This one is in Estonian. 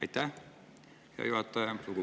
Aitäh, hea juhataja!